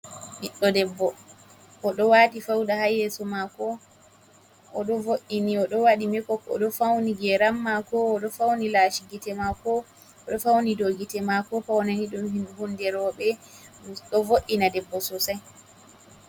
Ɓiɗɗo debbo oɗo wati fauda ha yeso mako, oɗo vo’ini, oɗo wadi mekop, oɗo fauni geram mako, oɗo fauni lashi gite mako, oɗo fauni dow gite mako faunani ɗum hunde roɓe ɗo vo’ina debbo sosai.